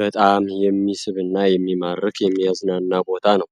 በጣም የሚስብና የሚማርክ የሚያዝናና ቦታ ነዉ።